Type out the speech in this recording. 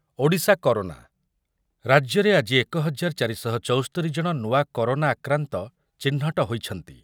Odisha corona, ରାଜ୍ୟରେ ଆଜି ଏକ ହଜାର ଚାରି ଶହ ଚୌସ୍ତୋରି ଜଣ ନୂଆ କରୋନା ଆକ୍ରାନ୍ତ ଚିହ୍ନଟ ହୋଇଛନ୍ତି।